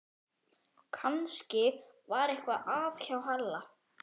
Kannski var eitthvað að hjá Halla